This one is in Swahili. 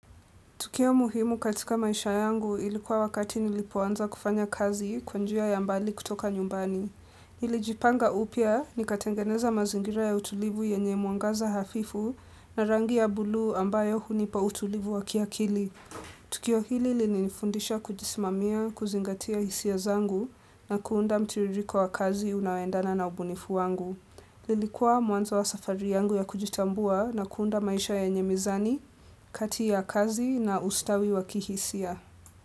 Tukio muhimu katika maisha yangu. Ilikuwa wakati nilipoanza kufanya kazi. Kwa njia ya mbali kutoka nyumbani. Nilijipaga upya. Nikatengeneza mazingira ya utulivu yenye muagaza hafifu na rangi ya buluu ambayo hunipa utulivu wakiakili. Tukio hili lili nifundisha kujisimamia, kuzingatia hisia zangu na kuunda mtiririko wa kazi unaoendana na ubunifu wangu. Lilikuwa mwanzo wa safari yangu ya kujitambua na kuunda maisha yenye mizani. Kati ya kazi na usitawi wa kihisia.